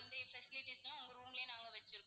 அந்த facilities லாம் உங்க room லயே நாங்க வச்சிருக்கோம்.